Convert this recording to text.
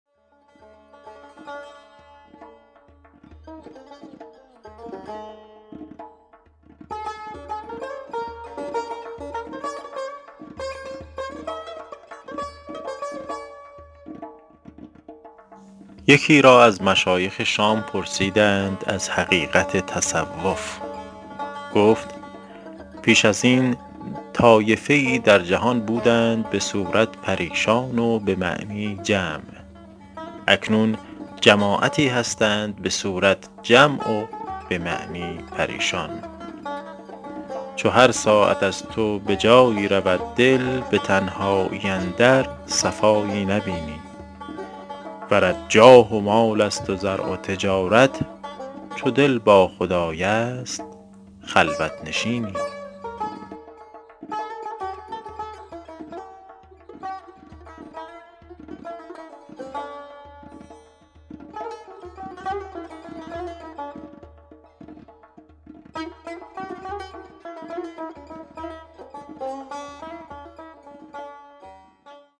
یکی را از مشایخ شام پرسیدند از حقیقت تصوف گفت پیش از این طایفه ای در جهان بودند به صورت پریشان و به معنی جمع اکنون جماعتی هستند به صورت جمع و به معنی پریشان چو هر ساعت از تو به جایی رود دل به تنهایی اندر صفایی نبینی ورت جاه و مال است و زرع و تجارت چو دل با خدای است خلوت نشینی